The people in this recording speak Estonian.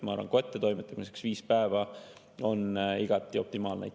Ma arvan, et kättetoimetamiseks viis päeva on igati optimaalne.